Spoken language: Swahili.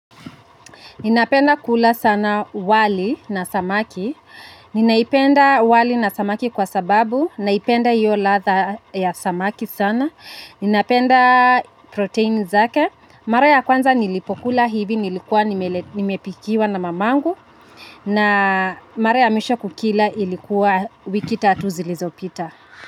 Ninapenda kula sana wali na samaki. Ninaipenda wali na samaki kwa sababu, naipenda hiyo latha ya samaki sana. Napenda proteini zake. Mara ya kwanza nilipokula hivi nilikuwa nimepikiwa na mamangu. Mara ya mwisho kukila ilikuwa wiki tatu zilizopita.